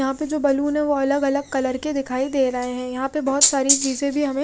यहाँ पे जो बलून है वो अलग अलग कलर के दिखाई दे रहे है यहाँ पे बोहोत सारी चीजे भी हमे--